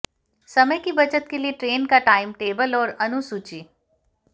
समय की बचत के लिए ट्रेन का टाइम टेबल और अनुसूची